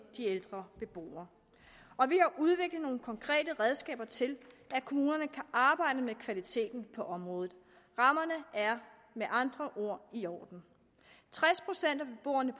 de ældre beboere og vi har udviklet nogle konkrete redskaber til at kommunerne kan arbejde med kvaliteten på området rammerne er med andre ord i orden tres procent af beboerne